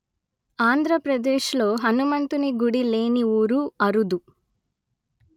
ఆంధ్ర ప్రదేశ్ ‌లో హనుమంతుని గుడి లేని ఊరు అరుదు